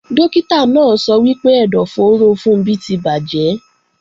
Dókítà náà sọ wípé ẹ̀dọ̀fóró Funbí ti bàjẹ́